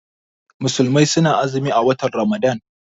Musulmai suna azumi a watan Ramadan.